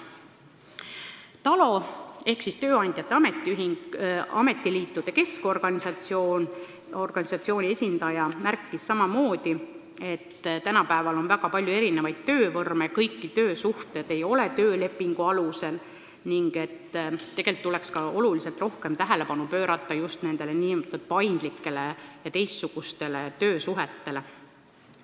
TALO ehk Teenistujate Ametiliitude Keskorganisatsiooni esindaja märkis samamoodi, et tänapäeval on väga palju erisuguseid töövorme, kõik töösuhted ei ole töölepingu alusel, ning tegelikult tuleks oluliselt rohkem tähelepanu pöörata just nimelt nn paindlikele ja teistsugustele töösuhetele.